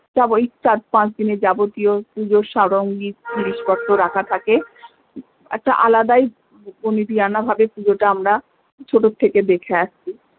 সব ওই চার পাঁচ দিনের যাবতীয় পুজোর সারঙ্গী জিনিস পত্র রাখা থাকে একটাই আলাদাই বনেদিয়ানা ভাবে পুজোটা আমরা ছোট থেকে দেখে আসছি